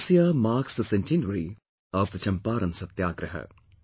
This year marks the centenary of the Champaran Satyagraha